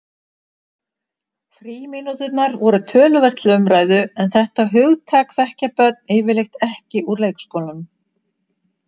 Frímínúturnar voru töluvert til umræðu en þetta hugtak þekkja börn yfirleitt ekki úr leikskólanum.